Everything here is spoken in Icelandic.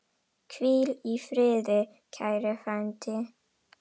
Hvíl í friði, kæri frændi.